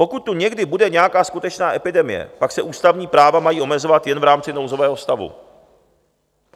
Pokud tu bude někdy nějaká skutečná epidemie, pak se ústavní práva mají omezovat jen v rámci nouzového stavu.